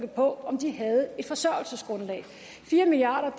på om de havde et forsørgelsesgrundlag fire milliard